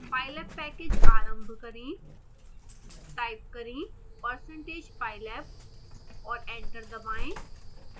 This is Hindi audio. pylab पैकेज आरंभ करें